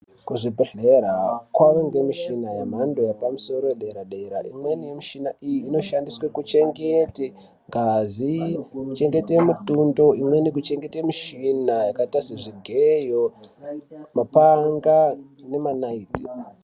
Kuzvibhedhleya kwane muchina wemhando yepamusoro dera dera imweni muchina iyi inoshandiswe kuchengete ngazi kuchengete mitondo kuchengete michina yakaita sezvigeyo mapanga nemanayiti.